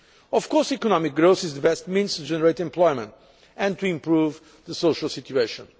Of course, economic growth is the best means to generate employment and to improve the social situation.